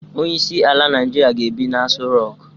Onyeisi ala naijiria ga-ebi na Aso Rock.